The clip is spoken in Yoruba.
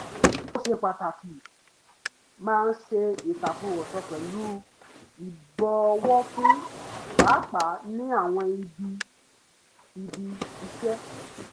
ó ṣe pàtàkì máa ṣe ìtàkùrọ̀sọ pẹ̀lú ìbọ̀wọ̀ fún pàápàá ní àwọn ibi bí ibi-iṣẹ́